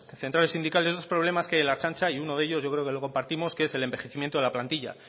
centrales sindicales esos problemas que hay en la ertzaintza y uno de ellos yo creo que lo compartimos que es el envejecimiento de la plantilla